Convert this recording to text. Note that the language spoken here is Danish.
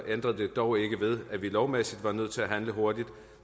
ændrede det dog ikke ved at vi lovmæssigt var nødt til at handle hurtigt